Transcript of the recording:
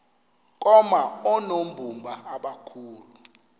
koma oonobumba abakhulu